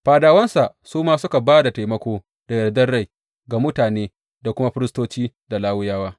Fadawansa su ma suka ba da taimako da yardar rai ga mutane da kuma firistoci da Lawiyawa.